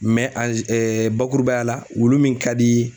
bakurubaya la wulu min ka di